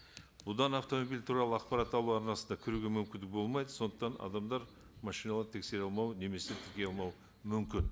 одан автомобиль туралы ақпарат алу арнасына кіруге мүмкіндік болмайды сондықтан адамдар машиналарды тексере алмауы немесе тіркеу алмауы мүмкін